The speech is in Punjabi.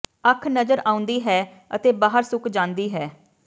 ਅੱਖ ਨਜ਼ਰ ਆਉਂਦੀ ਹੈ ਅਤੇ ਬਾਹਰ ਸੁੱਕ ਜਾਂਦੀ ਹੈ